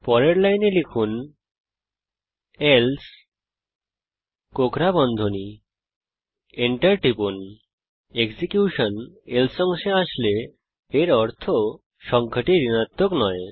পরের লাইনে লিখুন এলসে enter টিপুন এখন এক্সিকিউশন যদি এলসে অংশে আসে এর অর্থ সংখ্যাটি ঋণাত্মক নয়